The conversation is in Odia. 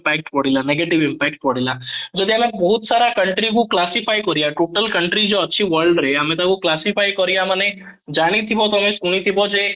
pact ପଡିଲା negative impact ପଡିଲା ଯଦି ଆମେ ବହୁତ ସାରା country କୁ classify କରିବା total country ଯୋଉ ଅଛି world ରେ ଆମେ ତାକୁ classify କରିବା ମାନେ ଜାଣିଥିବ ତମେ ଶୁଣିଥିବ ଯେ